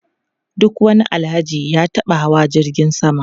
Duk wani Alhaji ya taba hawa jirgin sama.